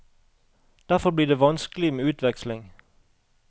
Derfor blir det vanskelig med utveksling.